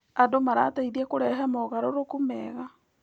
Andũ marateithia kũrehe mogarũrũku mega.